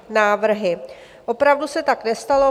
Opravdu se tak nestalo.